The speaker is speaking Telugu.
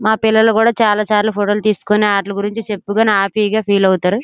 మా పిల్లలు కూడా చాల చాల ఫోటోలు తీసుకొని ఆట్ల గురించి చెప్పుకొని అపీ గ ఫీల్ అవుతారు.